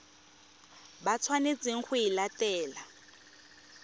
ba tshwanetseng go e latela